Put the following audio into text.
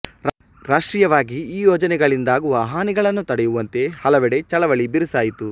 ರಾಷ್ಟ್ರೀಯವಾಗಿ ಈ ಯೋಜನೆಯಿಂದಾಗುವ ಹಾನಿಗಳನ್ನು ತಡೆಯುವಂತೆ ಹಲವೆಡೆ ಚಳವಳಿ ಬಿರುಸಾಯಿತು